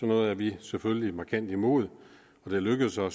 noget er vi selvfølgelig markant imod og det lykkedes jo